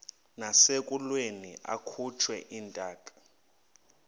nasekulweni akhutshwe intaka